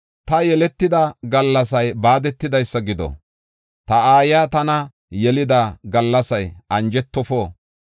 Taani yeletida gallasay baadetidaysa gido! Ta aayiya tana yelida gallasay anjetofo!